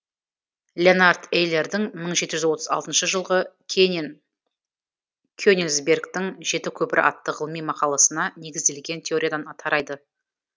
леонард эйлердің мың жеті жүз отыз алтыншы жылғы кенинсбергтің жеті көпірі атты ғылыми мақаласына негізделген теориядан тарайды